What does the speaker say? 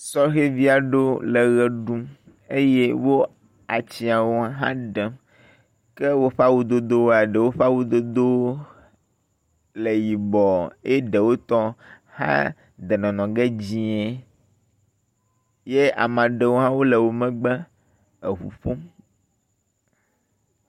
Sɔhɛvi aɖewo le eʋe ɖum eye wo atsiawo hã ɖem. Ke woƒe awudodowoa eɖewo ƒe awudodowo le yibɔ eye ɖewo tɔ hã de nɔnɔge dzie ye ame aɖewo hã le wo megbe eŋu ƒom.